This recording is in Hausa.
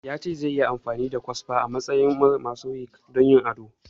Ya ce zai yi amfani da kwasfa a matsayin mosaic don yin ado